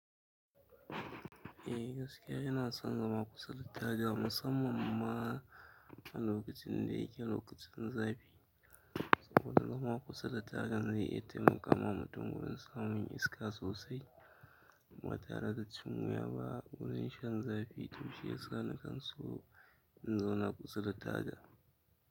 Eh gaskiya ina son gama kusa da taga musamman ma a lokacin da yake lokacin zafi. Saboda fama kusa da taga zai iya taimaka wa mutum wurin samun iska sosai ba tare da cin wuya ba wurin shan zafi tun shiyasa na kan so in zauna kusa da taga.